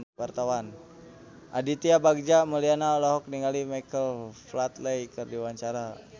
Aditya Bagja Mulyana olohok ningali Michael Flatley keur diwawancara